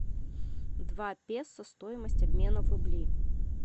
два песо стоимость обмена в рубли